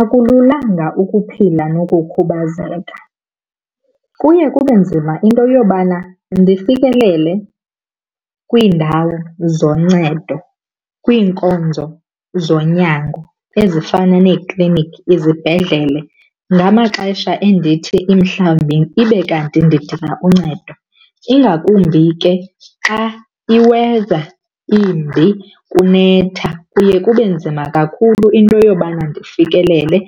Akululanga ukuphila nokukhubazeka. Kuye kube nzima into yobana ndifikelele kwiindawo zoncedo, kwiinkonzo zonyango ezifana neekliniki, izibhedlele ngamaxesha endithi mhlawumbi ibe kanti ndidinga uncedo. Ingakumbi ke xa i-weather imbi kunetha kuye kube nzima kakhulu into yobana ndifikelele